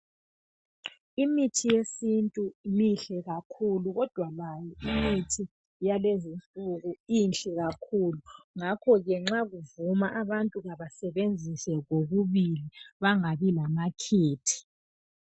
Imithi yesintu mihle kakhulu, kodwa layo imithi yalezinsuku inhle kakhulu. Ngakho ke nxa kuvuma abantu abasebenzise kokubili bangabi lamakhethe.